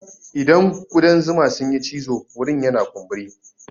Idan kuɗan zuma sun yi cizo wurin yana kumburi.